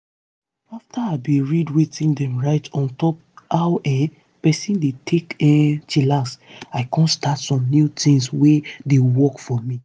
afta i bin read wetin dem write on top how um peson dey take um chillax i com start some new tins wey dey work for me.